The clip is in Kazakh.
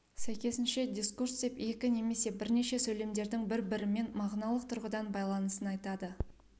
сәйкесінше дискурс деп екі немесе бірнеше сөйлемдердің бірбірімен мағыналық тұрғыдан байланысын атайды